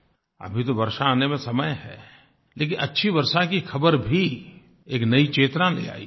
अभी तो वर्षा आने में समय है लेकिन अच्छी वर्षा की ख़बर भी एक नयी चेतना ले आयी